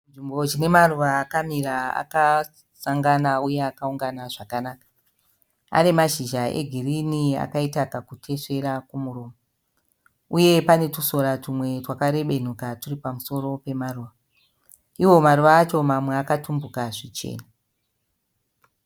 Chinzvimbo chine maruva akamira akasangana uye aungana zvakanaka. Ane mazhizha egirini akaita kakutesvera kumuromo. Uye pane twusora twumwe twakarebenuka twuri pamusoro pemaruva. Iwo maruva acho mamwe akatumbuka zvichena.